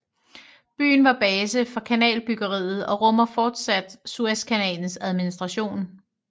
Byen var base for kanalbyggeriet og rummer fortsat Suezkanalens administration